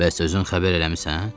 Bəs özün xəbər eləmisən?